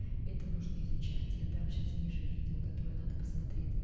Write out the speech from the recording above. это нужно изучать я дам сейчас ниже видео которое надо посмотреть